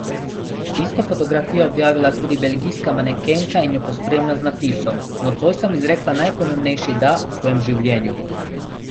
Isto fotografijo je objavila tudi belgijska manekenka in jo pospremila z napisom: "Nocoj sem izrekla najpomembnejši 'da' v svojem življenju.